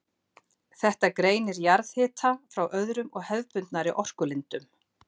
Þetta greinir jarðhita frá öðrum og hefðbundnari orkulindum.